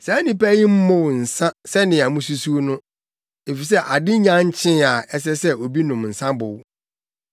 Saa nnipa yi mmow nsa sɛnea mususuw no, efisɛ ade nnya nkyee a ɛsɛ sɛ obi nom nsa bow.